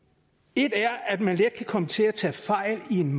et er at man let kan komme til at tage fejl i en